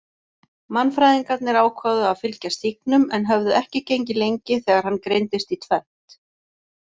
Mannfræðingarnir ákváðu að fylgja stígnum en höfðu ekki gengið lengi þegar hann greindist í tvennt.